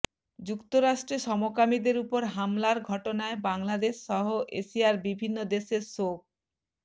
যুক্তরাষ্ট্রে সমকামীদের উপর হামলার ঘটনায় বাংলাদেশসহ এশিয়ার বিভিন্ন দেশের শোক